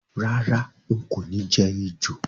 Rárá, n kò ni je ejò